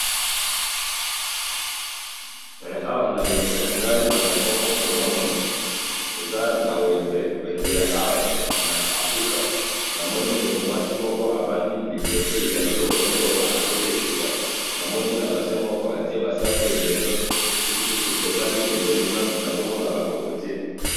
awa na liboso nangai nazalibongo komona eza na wenze , wenze ya awa na africa ,namoni ndeko mwasi moko avandi liboso ya biloko naye oyo azo tekisa , namonina bassin moko atiye ba safu ebele , soki totali pembeni kuna nazomona ba cocotiers